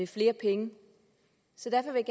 flere penge så derfor vil